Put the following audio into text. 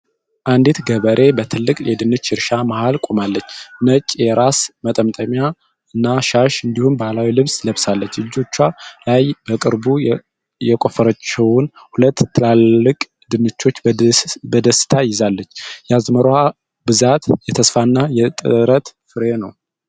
አንዲት ገበሬ በትልቅ የድንች እርሻ መሀል ቆማለች:: ነጭ የራስ መጠምጠሚያና ሻሽ እንዲሁም ባህላዊ ልብስ ለብሳለች:: እጆቿ ላይ በቅርቡ የቆፈረችውን ሁለት ትላልቅ ድንቾች በደስታ ይዛልች:: የአዝመራዋ ብዛት የተስፋ እና የጥረት ፍሬ ነው::